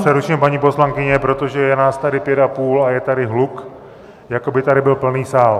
Já vás přeruším, paní poslankyně, protože je nás tady pět a půl a je tady hluk, jako by tady byl plný sál.